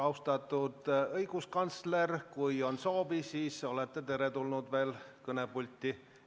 Austatud õiguskantsler, kui teil on soovi, siis olete veel kord kõnepulti teretulnud.